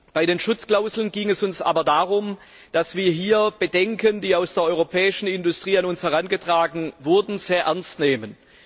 Bei den Schutzklauseln ging es uns aber darum, die Bedenken, die aus der europäischen Industrie an uns herangetragen wurden, sehr ernst zu nehmen.